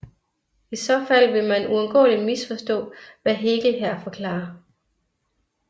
I så fald vil man uundgåeligt misforstå hvad Hegel her forklarer